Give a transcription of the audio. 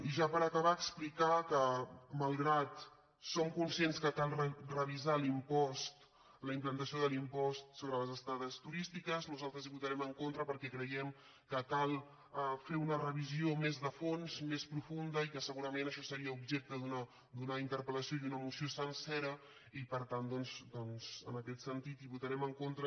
i ja per acabar explicar que malgrat que som cons·cients que cal revisar l’impost la implantació de l’im·post sobre les estades turístiques nosaltres hi votarem en contra perquè creiem que cal fer una revisió més de fons més profunda i que segurament això seria objecte d’una interpel·lació i una moció sencera i per tant en aquest sentit hi votarem en contra